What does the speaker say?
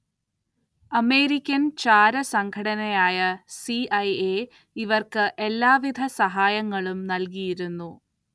American ചാരസംഘടനയായ CIA ഇവർക്ക് എല്ലാവിധ സഹായങ്ങളും നൽകിയിരുന്നു.